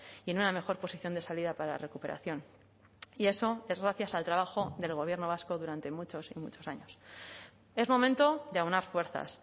y en una mejor posición de salida para la recuperación y eso es gracias al trabajo del gobierno vasco durante muchos y muchos años es momento de aunar fuerzas